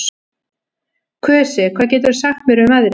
Kusi, hvað geturðu sagt mér um veðrið?